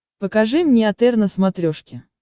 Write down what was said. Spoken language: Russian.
покажи мне отр на смотрешке